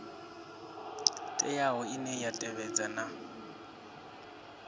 teaho ine ya tevhedza na